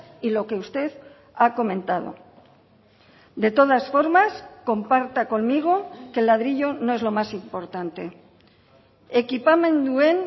y lo que usted ha comentado de todas formas comparta conmigo que el ladrillo no es lo más importante ekipamenduen